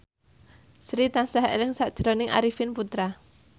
Sri tansah eling sakjroning Arifin Putra